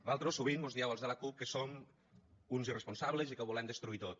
vosaltres sovint mos dieu als de la cup que som uns irresponsables i que ho volem destruir tot